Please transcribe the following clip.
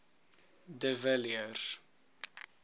de villiers